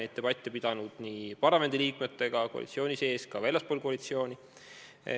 Oleme debatte pidanud nii parlamendi liikmetega koalitsiooni sees kui ka väljaspool koalitsiooni.